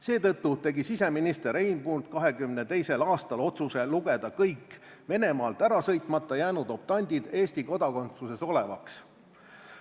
Seetõttu tegi siseminister Einbund 1922. aastal otsuse lugeda kõik Venemaalt ära sõitmata jäänud optandid Eesti kodakondsuses olevaks.